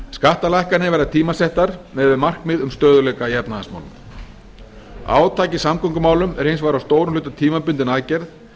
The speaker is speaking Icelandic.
skattalækkanir verða tímasettar miðað við markmið um stöðugleika í efnahagsmálum átak í samgöngumálum er hins vegar að stórum hluta tímabundin aðgerð